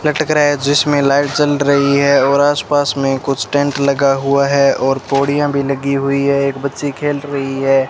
लटक रहा है जिसमें लाइट जल रही है और आसपास में कुछ टेंट लगा हुआ है और पौड़ियां भी लगी हुई है एक बच्ची खेल रही है।